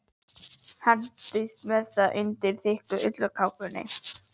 Hendist með það undir þykka ullarkápu.